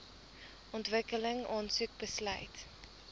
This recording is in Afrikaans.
ontwikkeling aansoek besluit